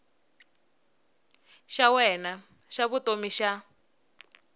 xa wena xa vutomi xa